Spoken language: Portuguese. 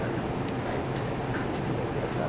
Não, porque vai ser assim, porque vai ser assado.